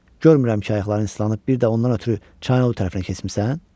Görmürəm ki, ayaqların islanıb, bir də ondan ötrü çayın o tərəfinə keçmisən?